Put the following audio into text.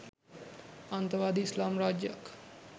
අන්තවාදී ඉස්ලාම් රාජ්‍යයක්